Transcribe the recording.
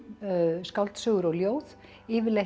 skáldsögur og ljóð